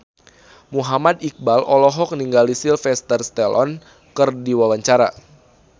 Muhammad Iqbal olohok ningali Sylvester Stallone keur diwawancara